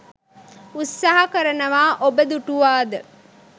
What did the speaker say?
උත්සාහ කරනවා ඔබ දුටුවාද?